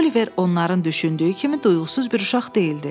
Oliver onların düşündüyü kimi duyğusuz bir uşaq deyildi.